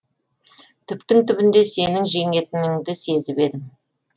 түптің түбінде сенің жеңетініңді сезіп едім